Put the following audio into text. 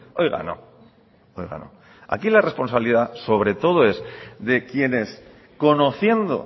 oiga no aquí la responsabilidad sobre todo es de quienes conociendo